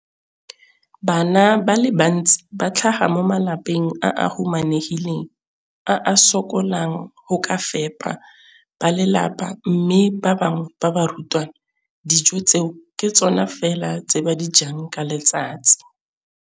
Bana ba le bantsi ba tlhaga mo malapeng a a humanegileng a a sokolang go ka fepa ba lelapa mme ba bangwe ba barutwana, dijo tseo ke tsona fela tse ba di jang ka letsatsi.